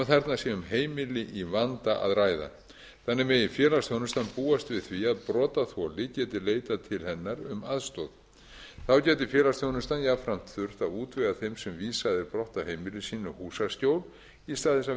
þarna sé um heimili í vanda að ræða þannig megi félagsþjónustan búast við því að brotaþoli geti leitað til hennar um aðstoð þá geti félagsþjónustan jafnframt þurft að útvega þeim sem vísað er brott af heimili sínu húsaskjól í stað þess að